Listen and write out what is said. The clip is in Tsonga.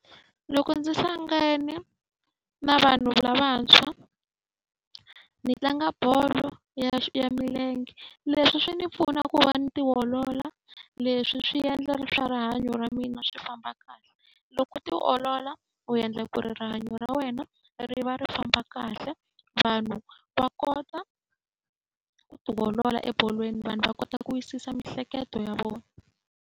Loko ndzi hlangane na vanhu lavantshwa ni tlanga bolo ya ya milenge. Leswi swi ni pfuna ku va ni tiolola, leswi swi endla swa rihanyo ra mina swi famba kahle. Loko u tiolola u endla ku ri rihanyo ra wena ri va ri famba kahle, vanhu va kota ku ti olola ebolweni vanhu va kota ku wisisa miehleketo ya vona.